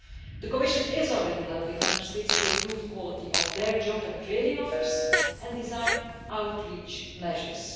The Commission is already helping Member States to improve the quality of their job and training offers and to design outreach measures.